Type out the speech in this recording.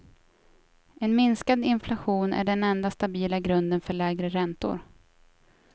En minskad inflation är den enda stabila grunden för lägre räntor.